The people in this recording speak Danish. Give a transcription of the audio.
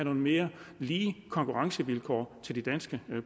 mere lige konkurrencevilkår til de danske